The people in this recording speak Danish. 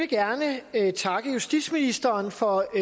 gerne takke justitsministeren for